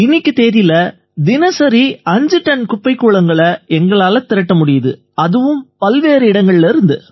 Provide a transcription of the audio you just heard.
இன்னைய தேதியில தினசரி 5 டன்கள் குப்பைக்கூளங்களை எங்களால திரட்ட முடியுது அதுவும் பல்வேறு இடங்கள்லேர்ந்து